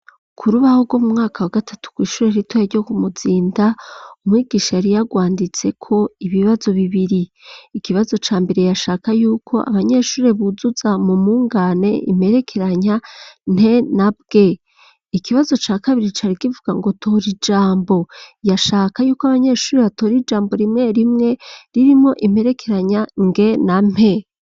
K'urubaho rwo mu mwaka wa gatatu kw'ishure ritoya ryo ku Muzinda umwigisha yari yagwanditseko ibibazo bibiri, ikibazo ca mbere yashaka yuko abanyeshuri buzuza mu mungane imperekeranya nte na bwe ikibazo ca kabiri carikivuga ngo tora ijambo yashaka yuko abanyeshure batora ijambo rimwe rimwe ririmwo imperekeranya nge na mpe.